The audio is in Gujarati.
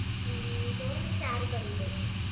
હમ્મ જુઓને ચાર કરી દેજો